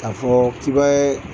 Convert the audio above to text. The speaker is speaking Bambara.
K'a fɔ k'i b'a ye